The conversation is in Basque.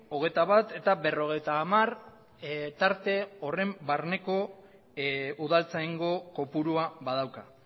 hogeita bat eta berrogeita hamar tarte horren barneko udaltzaingo kopurua badauka